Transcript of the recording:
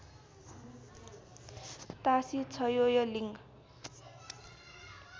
Tasi Choeling